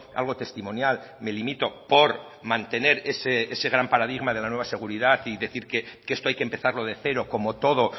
algo testimonial me limito por mantener ese gran paradigma de la nueva seguridad y decir que esto hay que empezarlo de cero como todo